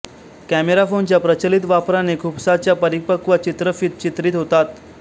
camera फोनच्या प्रचलीत वापराने खुपसाच्या अरिपक्व चित्रफित चित्रीत होतात